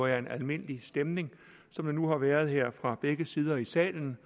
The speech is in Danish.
en almindelig stemning som der nu har været her fra begge sider i salen